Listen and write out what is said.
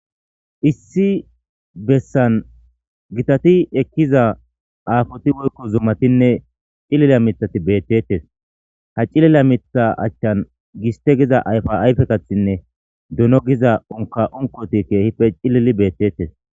issi bessan gitati ekkiza aafoti woykko zumatinne cilila mithati beetteetes.ha cilila mitha achan giste giza ayfa ayfetinne dono giza unkka unkkoti deetes.